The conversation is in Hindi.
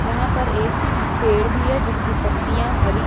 यहा पर एक पेड़ भी है जिसकी पत्तियां हरी है।